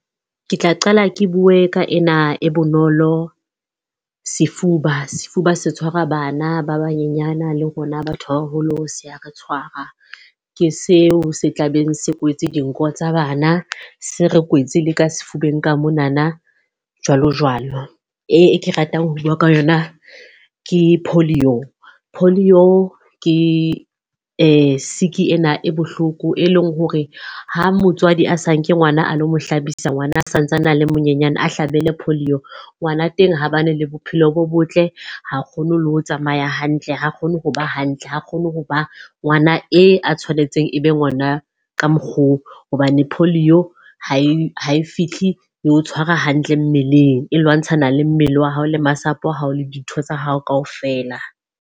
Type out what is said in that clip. Ke tla qala ke bue ka ena e bonolo sefuba. Sefuba se tshwara bana ba banyenyana le rona batho ba baholo se ya re tshwara. Ke seo se tlabeng se kwetse dinko tsa bana, se re kwetse le ka sefubeng ka monana jwalo jwalo. E ke ratang ho bua ka yona ke polio. Polio ke sick ena e bohloko, e leng hore ha motswadi ha sa nke ngwana a lo mo hlabisa ha ngwana a santsane a le monyenyane, a hlabele polio. Ngwana teng, ho bane le bophelo bo botle, ha kgone le ho tsamaya hantle, ha kgone ho ba hantle, ha kgone ho ba ngwana e a tshwanetseng e be be ngwana ka mokgwa oo. Hobane polio ha e ha e fihli e o tshwara hantle mmeleng. E lwantshana le mmele wa hao le masapo a hao le dintho tsa hao ka ofela.